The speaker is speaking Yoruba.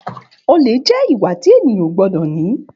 Òlé jẹ ìwá tí ẹyàn ó gbọdọ ni.